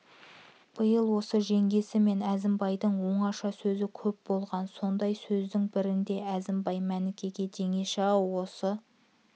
биыл осы жеңгесі мен әзімбайдың оңаша сөзі көп болған сондай сөздің бірінде әзімбай мәнікеге жеңеше-ау осы